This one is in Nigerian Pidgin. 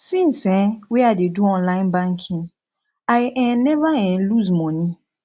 since um wey i dey do online banking i um neva um loose moni